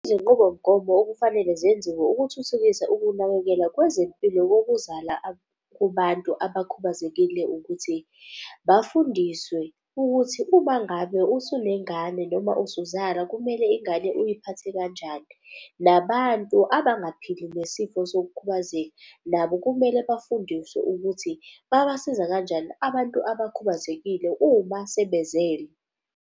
Izinqubomgomo okufanele zenziwe ukuthuthukisa ukunakekela kwezempilo kokuzala kubantu abakhubazekile ukuthi bafundiswe ukuthi uma ngabe usunengane noma usuzala kumele ingane uyiphathe kanjani. Nabantu abangaphili nesifo sokukhubazeka nabo kumele bafundiswe ukuthi babasiza kanjani abantu abakhubazekile uma sebezele.